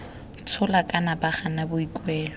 tshola kana ba gana boikuelo